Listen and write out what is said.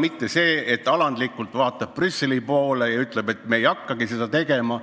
Me ei vaata alandlikult Brüsseli poole ega ütle, et me ei hakka midagi taotlema,